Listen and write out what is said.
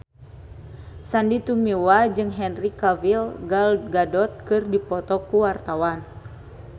Sandy Tumiwa jeung Henry Cavill Gal Gadot keur dipoto ku wartawan